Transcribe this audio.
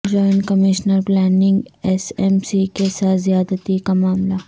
joint commissioner planning S M C کے ساتھ زیادتی کا معاملہ